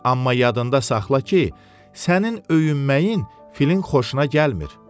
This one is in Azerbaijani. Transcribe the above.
Amma yadında saxla ki, sənin öyünməyin filin xoşuna gəlmir.